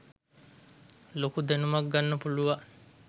ලොකු දැනුමක් ගන්න පුළුවන්.